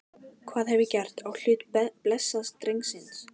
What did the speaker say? Hvað hef ég gert á hlut blessaðs drengsins?